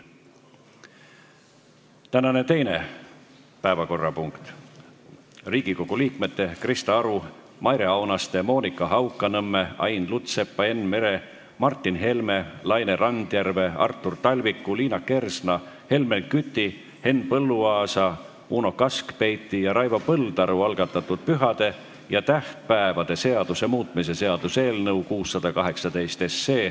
Tänane teine päevakorrapunkt on Riigikogu liikmete Krista Aru, Maire Aunaste, Monika Haukanõmme, Ain Lutsepa, Enn Mere, Martin Helme, Laine Randjärve, Artur Talviku, Liina Kersna, Helmen Küti, Henn Põlluaasa, Uno Kaskpeiti ja Raivo Põldaru algatatud pühade ja tähtpäevade seaduse muutmise seaduse eelnõu 618.